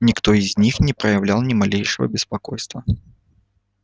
никто из них не проявлял ни малейшего беспокойства